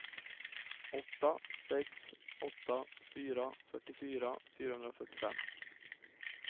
åtta sex åtta fyra fyrtiofyra fyrahundrafyrtiofem